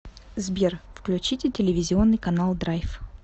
сбер включите телевизионный канал драйв